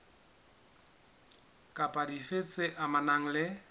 kapa dife tse amanang le